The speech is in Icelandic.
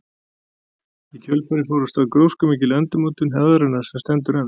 Í kjölfarið fór af stað gróskumikil endurmótun hefðarinnar sem stendur enn.